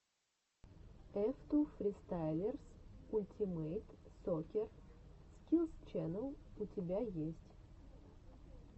эф ту фристайлерс ультимэйт соккер скиллс ченнэл у тебя есть